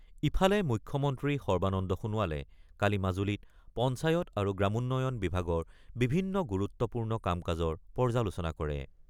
ইফালে মুখ্যমন্ত্ৰী সৰ্বানন্দ সোণোৱালে কালি মাজুলীত পঞ্চায়ত আৰু গ্ৰামোন্নয়ন বিভাগৰ বিভিন্ন গুৰুত্বপূৰ্ণ কাম-কাজৰ পৰ্যালোচনা কৰে।